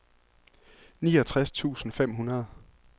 niogtres tusind fem hundrede